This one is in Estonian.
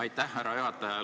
Aitäh, härra juhataja!